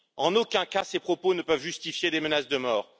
En aucun cas ces propos ne peuvent justifier des menaces de mort.